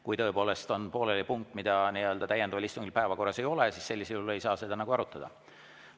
Kui tõepoolest jääb pooleli punkt, mida täiendava istungi päevakorras ei ole, siis seda seal arutada ei saa.